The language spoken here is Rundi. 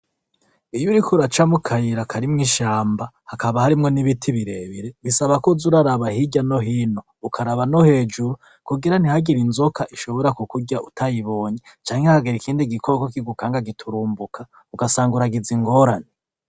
Iyo uriko uraca mu kayira karimwo ishamba, hakaba harimwo n'ibiti birebire bisaba ko uza uraraba hirya no hino, ukaraba no hejuru kugira ntihagire inzoka ishobora kukurya utayibonye canke ntihagire ikindi gikoko kigukanga giturumbuka, ugasanga uragize ingorane.